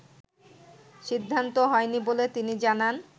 সিদ্ধান্ত হয়নি বলে তিনি জানান